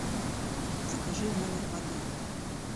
закажи в номер воды